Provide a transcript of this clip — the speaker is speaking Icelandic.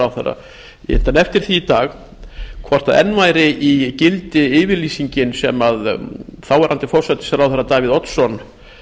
ráðherra ég innti hann eftir því dag hvort enn væri í gildi yfirlýsingin sem þáv forsætisráðherra davíð oddsson